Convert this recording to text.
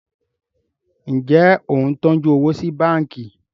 Njé o ń tọjú owo sí bánkì?